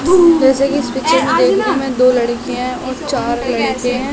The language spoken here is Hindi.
जैसे कि दो लड़किया हैं और चार लड़के है।